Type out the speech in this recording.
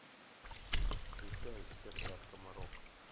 включай сетка от комаров